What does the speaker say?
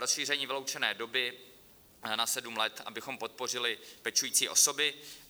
Rozšíření vyloučené doby na sedm let, abychom podpořili pečující osoby.